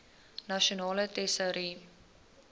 nasionale tesourie